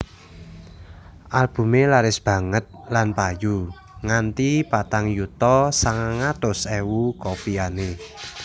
Albumé laris banget lan payu nganti patang yuta sangang atus ewu copyané